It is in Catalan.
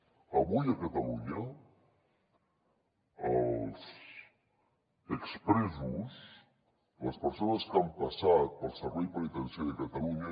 avui a catalunya els ex presos les persones que han passat pel servei penitenciari a catalunya